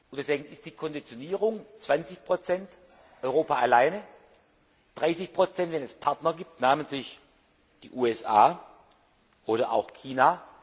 Deswegen ist die Konditionierung 20 Europa alleine, 30 wenn es Partner gibt, namentlich die USA oder auch China.